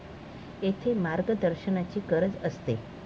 येथे मार्गदर्शनाची गरज असते.